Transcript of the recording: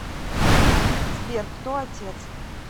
сбер кто отец